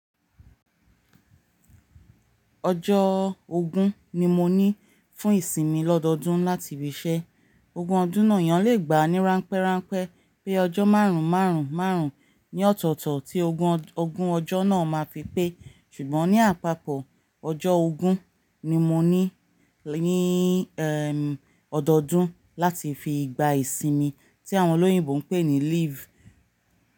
Ọjọ́ ogún ni mo ní fún ìsinmi ọdọọdún láti íbi iṣẹ́. Ògun ọdún náà yàn le gba ní ránpẹ́ránpẹ́ pé ọjọ́ márùn márùn márùn ni ọ̀tọ̀tọ̀ tí ogun ọjọ́ náà ma fi pé ṣùgbọ́n ní àpapọ̀ ọjọ́ ogún ni mo ní ní ẹ́m ọdọọdún láti fi gba ìsinmi tí àwọn olóyìnbo ń pè ní leave.